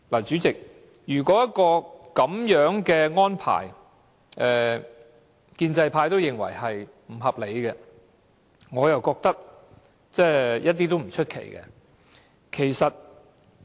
主席，如果建制派認為這樣的安排不合理，我覺得也不足為奇。